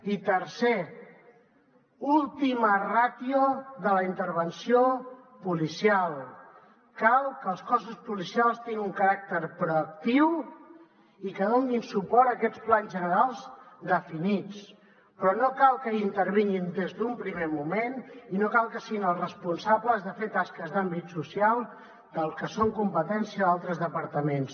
i tercer ultima ratio de la intervenció policial cal que els cossos policials tinguin un caràcter proactiu i que donin suport a aquests plans generals definits però no cal que hi intervinguin des d’un primer moment i no cal que siguin els responsables de fer tasques d’àmbit social que són competència altres departaments